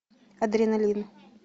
адреналин